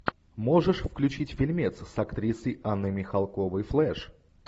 можешь включить фильмец с актрисой анной михалковой флэш